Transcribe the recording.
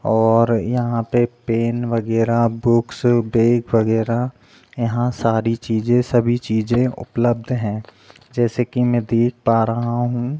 और यहाँ पे एक पेन वगैरा बुक्स बैग वगैरा यहाँ सारी चीज़े सभी चीज़े उपलब्ध है जैसे की मैं देख पा रहा हूँ।